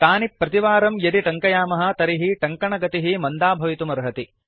तानि प्रतिवारं यदि टङ्कयामः तर्हि टङ्कनगतिः मन्दा भवितुमर्हति